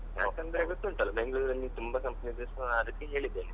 ಯಾಕಂದ್ರೆ ಗೊತ್ತುಂಟಲ್ಲ ಬೆಂಗ್ಳೂರಲ್ಲಿ ತುಂಬಾ companies ಆ ರೀತಿ ಹೇಳಿದ್ದೇನೆ.